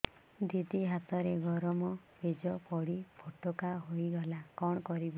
ଦିଦି ହାତରେ ଗରମ ପେଜ ପଡି ଫୋଟକା ହୋଇଗଲା କଣ କରିବି